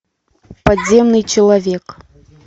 подземный человек